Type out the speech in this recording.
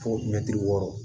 Fo wɔɔrɔ